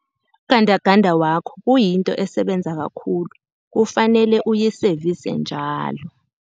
Ugandaganda wakho kuyinto esebenza kakhulu, kufanele uyisevise njalo.